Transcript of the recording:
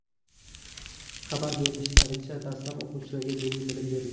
Xabar berishlaricha, dastlab o‘quvchilarga diniy bilim berilgan.